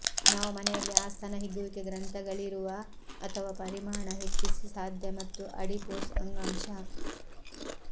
ನಾವು ಮನೆಯಲ್ಲಿ ಆ ಸ್ತನ ಹಿಗ್ಗುವಿಕೆ ಗ್ರಂಥಿಗಳಿರುವ ಅಥವಾ ಪರಿಮಾಣ ಹೆಚ್ಚಿಸಿ ಸಾಧ್ಯ ಒತ್ತು ಅಡಿಪೋಸ್ ಅಂಗಾಂಶ